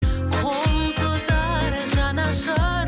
қол созар жанашыр